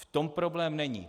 V tom problém není.